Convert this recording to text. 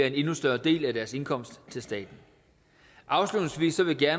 en endnu større del af deres indkomst til staten afslutningsvis vil jeg